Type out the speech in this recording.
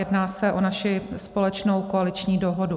Jedná se o naši společnou koaliční dohodu.